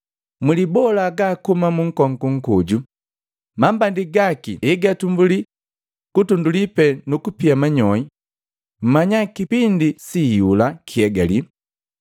“Mulibola hagaa kuhuma munkongu nkoju, mambandi gaki egatumbulii kutunduli tuu nukupia manyoi, mmanya kipindi si iyula kihegalile.